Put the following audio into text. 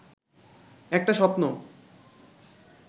একটা স্বপ্ন